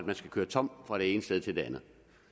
man skal køre tom fra det ene sted til det andet